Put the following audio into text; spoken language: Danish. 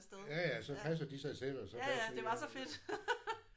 Ja ja så passer de sig selv og så passer I jer også